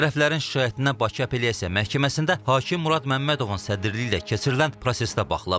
Tərəflərin şikayətinə Bakı Apellyasiya Məhkəməsində hakim Murad Məmmədovun sədrliyi ilə keçirilən prosesdə baxılıb.